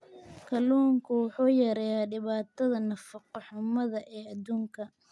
Kalluunku wuxuu yareeyaa dhibaatada nafaqo-xumada ee adduunka.